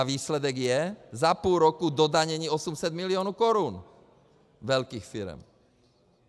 A výsledek je - za půl roku dodanění 800 milionů korun velkých firem.